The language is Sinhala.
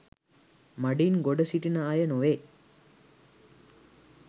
මඩින් ගොඩ සිටින අය නොවේ